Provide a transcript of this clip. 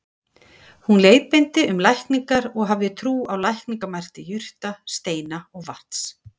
Hún leiðbeindi um lækningar og hafði trú á lækningamætti jurta, steina og vatns.